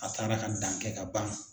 A taara ka dankɛ ka ban.